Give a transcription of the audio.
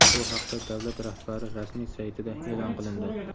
Bu haqda davlat rahbari rasmiy saytida e’lon qilindi.